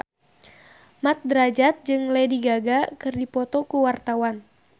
Mat Drajat jeung Lady Gaga keur dipoto ku wartawan